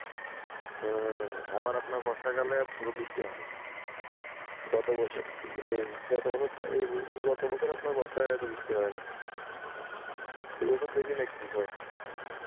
হম আবার আপনার বর্ষাকালে বৃষ্টি হয় না গত বছরে আপনার বর্ষায় এইরকম বৃষ্টি হয় নাই এবছর দেখি না কি হয়? ও